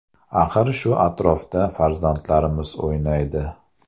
Axir shu atrofda farzandlarimiz o‘ynaydi.